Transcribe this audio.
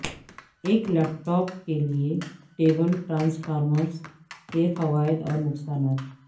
ایک laptop کے لئے ٹیبل ٹرانسفارمرز کے فوائد اور نقصانات